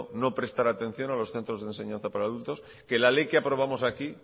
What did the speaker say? no prestar atención a los centros de enseñanza para adultos que la ley que aprobamos aquí